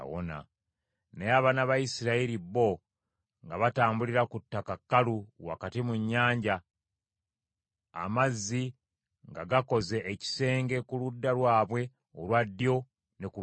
Naye abaana ba Isirayiri bo nga batambulira ku ttaka kkalu wakati mu nnyanja, amazzi nga gakoze ekisenge ku ludda lwabwe olwa ddyo ne ku lwa kkono.